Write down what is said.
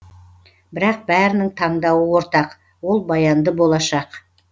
бірақ бәрінің таңдауы ортақ ол баянды болашақ